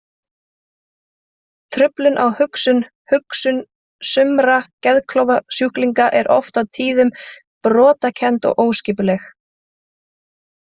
Truflun á hugsun Hugsun sumra geðklofasjúklinga er oft á tíðum brotakennd og óskipuleg.